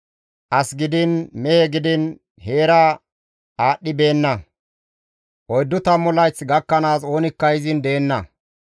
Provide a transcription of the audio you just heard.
As gidiin mehe gidiin heera aadhdhibeenna; oyddu tammu layth gakkanaas oonikka izin deenna.